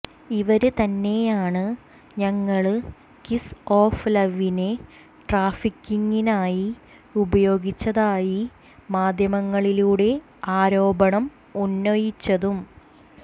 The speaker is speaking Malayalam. ഇവര് തന്നെയാണ് ഞങ്ങള് കിസ് ഓഫ് ലവിനെ ട്രാഫിക്കിംഗിനായി ഉപയോഗിച്ചതായി മാധ്യമങ്ങളിലൂടെ ആരോപണം ഉന്നയിച്ചതും